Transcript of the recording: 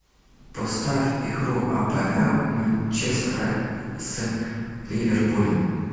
поставь игру апл манчестера с ливерпулем